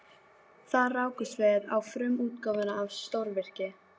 Þar rákumst við á frumútgáfuna af stórvirki